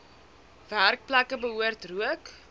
werkplekke behoort rook